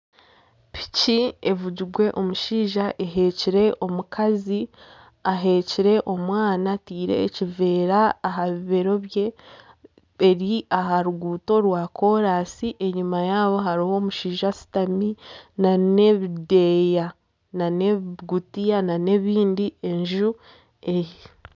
Piki evugirwe omushaija eheekire omukazi aheekire omwana ataire ekiveera aha bibeero bye, eri aha ruguuto rwa kooransi enyuma yabo hariyo omushaija ashutami na n'ebideeya na n'ebigutiya na n'ebindi enju aheeri.